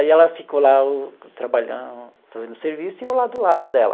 Aí ela ficou lá trabalhando, fazendo serviço, e eu lá do lado dela.